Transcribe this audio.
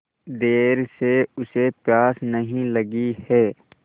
देर से उसे प्यास नहीं लगी हैं